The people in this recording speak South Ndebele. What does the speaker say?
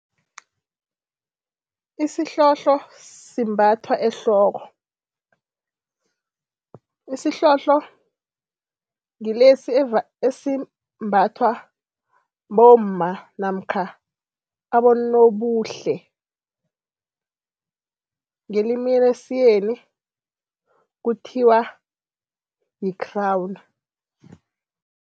Isihlohlo simbathwa ehloko. Isihlohlo ngilesi esimbathwa bomma namkha abonobuhle, ngelimi lesiyeni kuthiwa yi-crown.